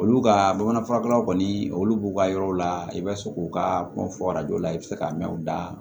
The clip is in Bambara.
Olu ka bamanan furakɛlaw kɔni olu b'u ka yɔrɔw la i bɛ se k'u ka kuma fɔrajo la i bɛ se ka mɛn u da